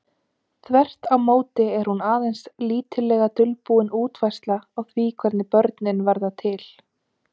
Þvert á móti er hún aðeins lítillega dulbúin útfærsla á því hvernig börnin verða til.